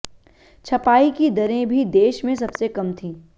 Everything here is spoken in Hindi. छपाई की दरें भी देश में सबसे कम थीं